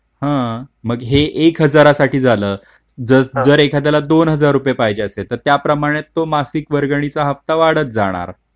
तर हे एक हजार रुपय साठी झालं जर त्याला दोन हजार रुपये पाहिजे असले तर त्याप्रमाणे तो मासिक वर्गणी चा हप्ता वाढत जाणार.